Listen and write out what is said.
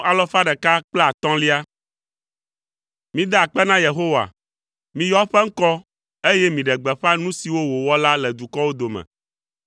Mida akpe na Yehowa, miyɔ eƒe ŋkɔ, eye miɖe gbeƒã nu siwo wòwɔ la le dukɔwo dome.